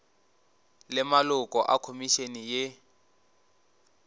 le maloko a khomišene ye